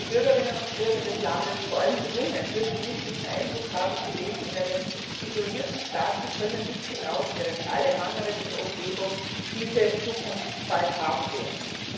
Denn die Bürgerinnen und Bürger des Landes, vor allem die jungen, dürfen nicht den Eindruck haben, sie leben in einem isolierten Staat, sie können nicht hinaus, während alle anderen in der Umgebung diese Zukunft bald haben werden.